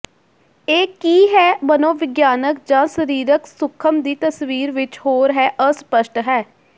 ਇਹ ਕੀ ਹੈ ਮਨੋਵਿਗਿਆਨਕ ਜ ਸਰੀਰਕ ਸੂਖਮ ਦੀ ਤਸਵੀਰ ਵਿੱਚ ਹੋਰ ਹੈ ਅਸਪਸ਼ਟ ਹੈ